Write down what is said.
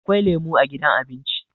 Akwai lemo a gidan abinci